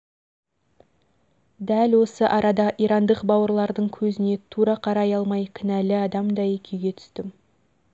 дәл осы арада ирандық бауырлардың көзіне тура қарай алмай кінәлі адамдай күйге түстім